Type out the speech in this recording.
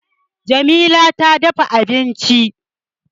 Jamila ta dafa abinci